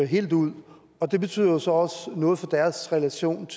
helt ud og det betyder jo så også noget for deres relation